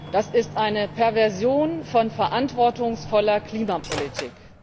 Das ist eine Perversion von verantwortungsvoller Klimapolitik.